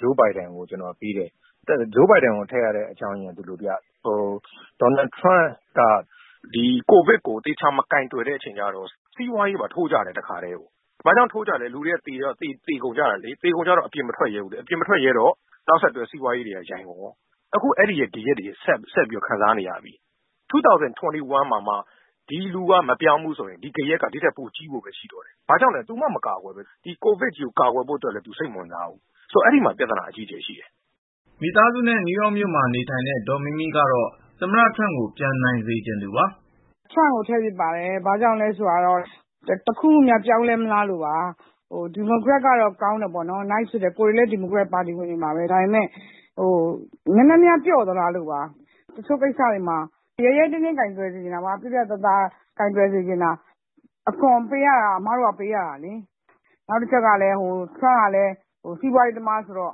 ဂျိုးဘိုင်ဒန်ကို မဲပေးပါတယ်။ ဂျိုးဘိုင်ဒန်ကို မဲထည့်ရတဲ့ အကြောင်းက ဒီလိုဗျ.. ဒေါ်နယ်ထရမ့်က ဒီ ကိုဗစ်ကို သေချာ မကိုင်တွယ်တဲ့ အချိန်ကျတော့ စီးပွားရေးပါ ထိုးကျတယ် တခါထဲ။ ဘာကြောင့် ထိုးကျလဲဆိုတော့ လူတွေက သေကုန်ကြတယ်လေ ၊ သေတော့ အပြင်မထွက်ရဲကြတော့ဘူး ၊ အပြင် မထွက်ရဲတော့ နောက်ဆက်တွဲအဖြစ် စီးပွားပါ ယိုင်ကုန်ရော အခုတော့ အဲဒီရဲ့ ဂယက်တွေကို ဆက်ပြီး ခံစားနေရပြီ။ ၂၀၂၁ မှာမှ ဒီသမ္မတက မပြောင်းဘူးဆိုရင် အဲဒီဂယက်က ဒီထက်ပိုကြီးဖို့ပဲ ရှိတော့တယ်။ ဘာကြောင့်လဲ - သူမှ စိတ်မဝင်စားပဲ ၊ ဆိုတော့ အဲဒီမှာတင် ပြသနာရှိနေတယ် ။ " မိသားစုနဲ့ နယူးယောက်မြို့မှာ နေထိုင်တဲ့ ဒေါ်မီးမီးကတော့ သမ္မတ ထရမ့်ကို ပြန် နိုင်စေချင်သူပါ ။ " ထရမ့်ကို မဲထည့်ဖြစ်ပါတယ်။ ဘာကြောင့်လဲဆိုတော့ တခုခုများ ပြောင်းလဲလားမလို့ပါ ။ ဒီမိုကရက်ကတော့ ကောင်းပါတယ် Nice ဖြစ်တာပေါ့နော် ကိုယ်တွေလည်း ဒီမိုကရက် ပါတီဝင်တွေပါပဲ ဒါပေမဲ့ ဒီမိုကရက်က နည်းနည်းများ ပျော့သလားလို့ပါ။ တချို့ကိစ္စတေ ွမှာ ရဲရဲတင်းတင်း ပြတ်ပြတ်သားသား ကိုင်တွယ် စေချင်တာပေါ့နော်။ အခွန်ပေးနေရတာက ကျမတို့က ပေးနေရတာလေ ။ နောက်တချက်ကလည်း ထရမ့်က စီးပွားရေးသမားဆိုတော့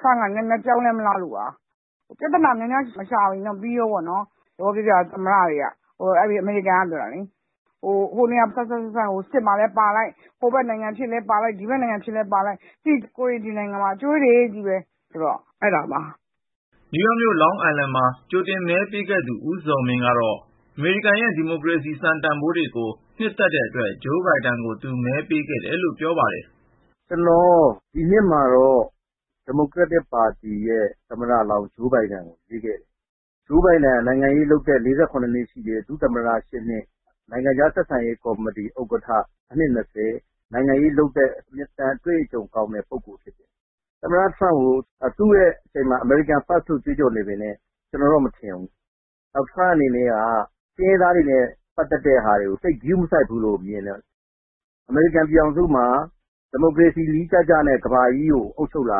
ထရမ့်က နည်းနည်းပြောင်းလဲ မလားလို့ပါ။ အမေရိကန် သမ္မတတွေက ပြဿနာ များများ မရှာရင်ပြီးရောပေါ့နော် ဥပမာ စစ်မှာလည်းပါလိုက်၊ ဟိုဖက်နိုင်ငံဖြစ်လည်း ပါလိုက် ဒီဖက်နိုင်ငံဖြစ်လည်း ပါလိုက်နဲ့ ပြီးရင် ကိုယ်တွေ ဒီနိုင်ငံမှာ အကြွေးတွေချည်းပဲဆိုတော့ အဲဒါကြောင့်ပါ။ " နယူးယောက်မြို့ Long Island မှာ ကြိုတင်မဲ သွားပေးခဲ့သူ ဦးဇော်မင်းကတော့ အမေရိကန်ရဲ့ ဒီမိုကရေစီ စံတန်ဖိုးတွေကို နှစ်သက်တဲ့အတွက် ဂျိုးဘိုင်ဒန်ကို သူ မဲပေးခဲ့တယ်လို့ ပြောပါတယ်။ " ကျနော် ဒီနှစ်မှာတော့ ဒီမိုကရက်တစ်ပါတီရဲ့ သမ္မတလောင်း ဂျိုးဘိုင်ဒန်ကို မဲပေးခဲ့တယ်။ ဂျိုးဘိုင်ဒန်ရဲ့ နိုင်ငံရေးလုပ်သက် ၄၇ နှစ်မှာ ဒုသမ္မတသက်တမ်း ၈ နှစ်၊ နိုင်ငံခြားဆက်ဆံရေး ကော်မတီ ဥက္ကဌအဖြစ်နဲ့က အနှစ်(၂၀) ဆိုတော့ နိုင်ငံရေးလုပ်သက် အတွေ့အကြုံ ကောင်းတဲ့ပုဂ္ဂိုလ် ဖြစ်တယ်။ သမ္မတ ထရမ့်က သူ့လက်ထက်မှာ အမေရိကန်သာ ဦးစားပေးလို့ ကြွေးကြော်နေပေမယ့် ကျနော်တော့ အဲလို မထင်ဘူး။ နောက် ထရမ့်အနေနဲ့က ဆင်းရဲသားတွေနဲ့ ပတ်သက်တဲ့ဟာတွေကို သိပ်ဂရုမစိုက်ဘူးလို့ မြင်တယ်။ အမေရိကန်ပြည်ထောင်စုမှာ အစဉ်အလာရှိတဲ့ ဒီမိုကရက်တစ်ပါတီ ၊ အစဉ်အလာ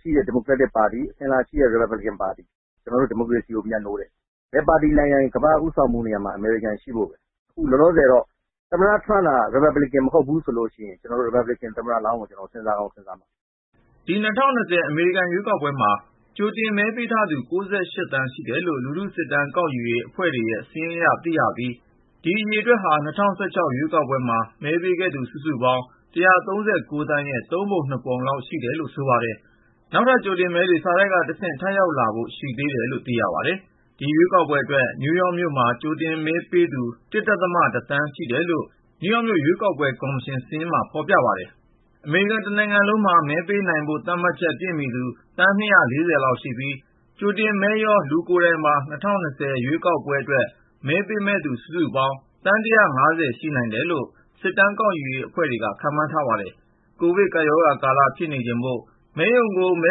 ရှိတဲ့ ရီပတ်ဘလစ်ကန်ပါတီတွေက ဒီမိုကရေစီ နည်းကျကျနဲ့ ကမ္ဘာကြီးကို ဦးဆောင်ခဲ့ကြတာ။ ကျနော်တို့က ဒီမိုကရေစီကို မြတ်နိုးတာ ။ ဘယ်ပါတီနိုင်နိုင် ကမ္ဘာ့ ဦးဆောင်မှုနေရာမှာ အမေရိကန် ရှိသင့်တယ်။ အခုလောလောဆယ်မှာတော့ သမ္မတ ထရမ့်သာ ရီပတ်ဘလစ်ကန်အနေနဲ့ ဝင်ရွေးတာမျိုးမဟုတ်ပဲ သူ့နေရာမှာ အခြားတယောက်သာဆိုရင် ကျနော်တို့က ရီပတ်ဘလစ်ကန် သမ္မတလောင်းကို စဉ်းစားကောင်း စဉ်းစားရလိမ့်မယ်။ " ဒီ ၂၀၂၀ အမေရိကန် ရွေးကောက်ပွဲမှာ ကြိုတင်မဲပေးထားသူ (၉၈)သန်း ရှိတယ်လို့ လူထု စစ်တမ်းကောက်ယူရေး အဖွဲ့တွေရဲ့ စာရင်းအရ သိရပြီး ဒီအရေအတွက်ဟာ ၂၀၁၆ ရွေးကောက်ပွဲမှာ မဲပေးခဲ့သူ စုစုပေါင်း (၁၃၉) သန်းရဲ့ သုံးပုံနှစ်ပုံလောက် ရှိတယ်လို့ဆိုပါတယ်။ နောက်ထပ် ကြိုတင်မဲတွေ စာတိုက်ကတဆင့် ထပ်ရောက်လာဖို့ ရှိသေးတယ်လို့ သိရပါတယ်။ ဒီ ရွေးကောက်ပွဲအတွက် နယူးယောက်မြို့မှာ ကြိုတင်မဲ ပေးသူ (၁.၁ )သန်းကျော် ရှိတယ်လို့ နယူးယောက်မြို့ ရွေးကောက်ပွဲ ကော်မရှင် စာရင်းမှာ ဖေါ်ပြပါတယ်။ အမေရိကန်တနိုင်ငံလုံးမှာ မဲပေးနိုင်ဖို့ သတ်မှတ်ချက် ပြည့်မီသူ သန်း(၂၄၀)လောက်ရှိပြီး ကြိုတင်မဲတွေရော ၊ လူကိုယ်တိုင်ပါ ၂၀၂၀ ရွေးကောက်ပွဲအတွက် မဲပေးမယ့်သူ စုစုပေါင်း သန်း(၁၅၀) ရှိနိုင်တယ်လို့ စစ်တမ်းကောက်ယူရေး အဖွဲ့တွေက ခန့်မှန်းထားပါတယ်။ ကိုဗစ်ကပ်ရောဂါကာလ ဖြစ်နေချိန်မို့ မဲရုံကို မဲ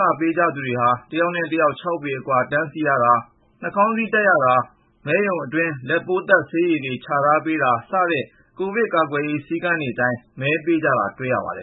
လာပေးကြ သူတွေဟာ တယောက်နဲ့တယောက် (၆) ပေအကွာ တန်းစီရတာ ၊ နှာခေါင်းစည်းတပ်ရတာ ၊ မဲရုံအတွင်းမှာ လက်ပိုးသတ်ဆေးရည်တွေ ချထားပေးတာ စတဲ့ ကိုဗစ်ကာကွယ်ရေး စည်းကမ်းတွေအတိုင်း မဲပေးကြတာ တွေ့ရပါတယ်